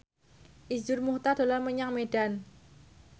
Iszur Muchtar dolan menyang Medan